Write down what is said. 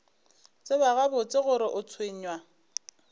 tseba gabotse gore o tshwenywa